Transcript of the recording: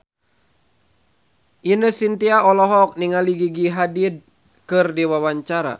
Ine Shintya olohok ningali Gigi Hadid keur diwawancara